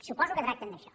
suposo que tracten d’això